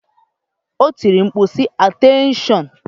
O tiri mkpu, sị, Ateenshon!